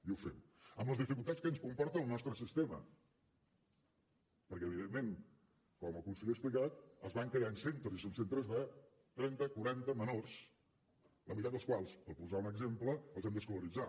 i ho fem amb les dificultats que ens comporta al nostre sistema perquè evidentment com el conseller ha explicat es van creant centres i són centres de trenta quaranta menors la meitat dels quals per posar ne un exemple els hem d’escolaritzar